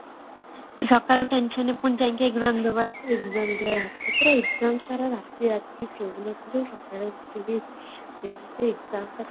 ସକାଳେ tensionରେ ପୁଣି ଯାଇ କି exam ଦବା କେତେ exam ପାଇଁ ରାତିସାରା ଶୋଉନଥିବେ ସକାଳୁ ଉଠିକି କେମିତି examଟା